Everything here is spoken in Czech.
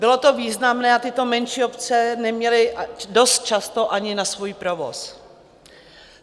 Bylo to významné a tyto menší obce neměly dost často ani na svůj provoz.